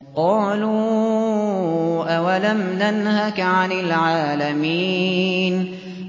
قَالُوا أَوَلَمْ نَنْهَكَ عَنِ الْعَالَمِينَ